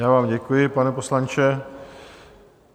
Já vám děkuji, pane poslanče.